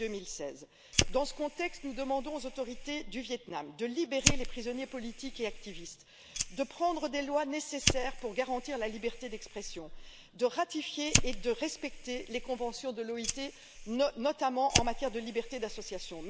et 2016? Dans ce contexte, nous demandons aux autorités du Vietnam de libérer les prisonniers politiques et les activistes, d'adopter les lois nécessaires pour garantir la liberté d'expression, de ratifier et de respecter les conventions de l'OIT, notamment en matière de liberté d'association.